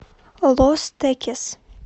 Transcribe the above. лос текес